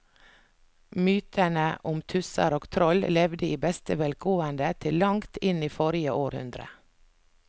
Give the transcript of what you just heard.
Mytene om tusser og troll levde i beste velgående til langt inn i forrige århundre.